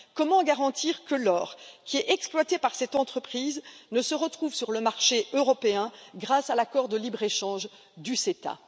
Comment garantir que l'or qui est exploité par cette entreprise ne se retrouvera pas sur le marché européen grâce à l'accord de libre échange du CETA?